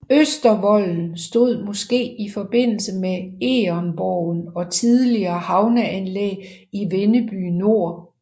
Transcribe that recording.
Østervolden stod måske i forbindelse med Egernborgen og tidligere havneanlæg i Vindeby Nor